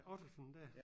Ottesen dér?